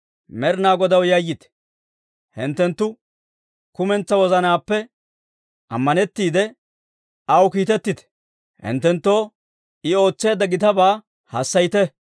Med'inaa Godaw yayyite; hinttenttu kumentsaa wozanaappe ammanettiide, aw kiitettite; hinttenttoo I ootseedda gitabaa hassayite.